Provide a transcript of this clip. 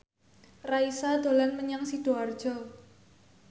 Raisa dolan menyang Sidoarjo